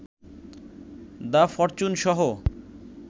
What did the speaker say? the ফরচুন-সহ